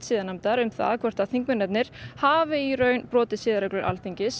siðanefndar um það hvort að þingmennirnir hafi í raun brotið siðareglur Alþingis